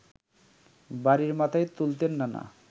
বাড়ি মাথায় তুলতেন নানা